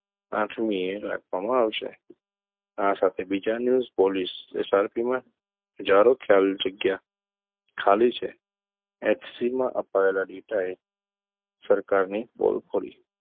આઠમી એ રાખવામાં આવશે આ સાથે બીજા news પોલીસ SRP માં હજારો ખાલી જગ્યા ખાલી છે HC માં અપાયેલા data એ સરકાર ની પોલ ખોલી